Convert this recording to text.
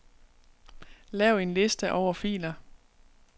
Lav en liste over filer.